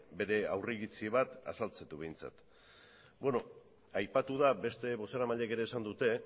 bere aurriritzi bat azaltzen du behintzat beno aipatu da beste bozeramaileek ere esan dute